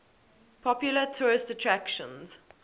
popular tourist attractions